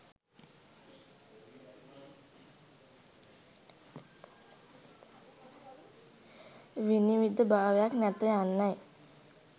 විනිවිද භාවයක් නැත යන්නයි.